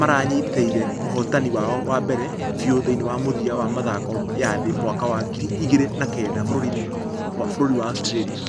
marĩnyiteire ũhotani wao wa mbere biu thĩinĩ wa mũthia wa mĩthako ya thĩ mwaka wa ngiri igĩrĩ na kenda bũrũri wa australia .